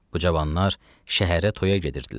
Bu cavanlar şəhərə toya gedirdilər.